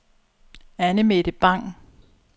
Anne-Mette Bang